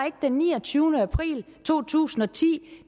ikke den niogtyvende april to tusind og ti